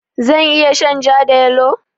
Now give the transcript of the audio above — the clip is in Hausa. Zan iya shan ja da yalo?